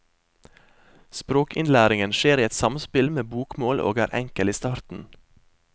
Språkinnlæringen skjer i et samspill med bokmål og er enkel i starten.